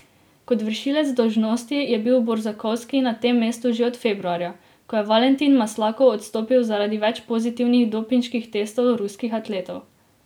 Kot vršilec dolžnosti je bil Borzakovski na tem mestu že od februarja, ko je Valentin Maslakov odstopil zaradi več pozitivnih dopinških testov ruskih atletov.